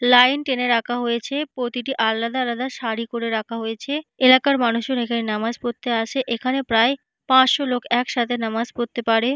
line টেনে রাখা হয়েছে প্রতিটি আলাদা আলাদা সারি করে রাখা হয়েছে এলাকার মানুষের এখানে নামাজ পড়তে আসে এখানে প্রায় পাঁচশো লোক একসাথে নামাজ পড়তে পারে- এ--